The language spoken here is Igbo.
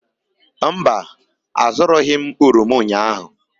Mba, azụrụghị m oroma ụnyahụ.